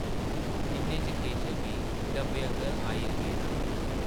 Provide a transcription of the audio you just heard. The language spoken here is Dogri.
इन्ने च केशव बी डब्बे अंदर आई गेदा हा ।